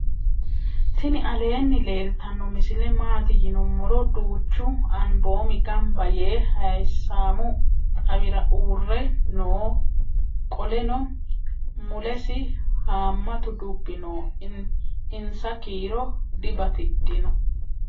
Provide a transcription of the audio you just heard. tini aleni leltano misile maati yinnumoro. duchu anbomi ganba yee hayisamu xawira uure noo qooleno mulesi hamatu duubi noo. insa kiiro dibatidhino.